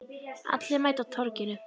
Allir mæta á Torginu